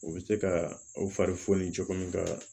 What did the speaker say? U bɛ se ka aw fari foni cogo min ka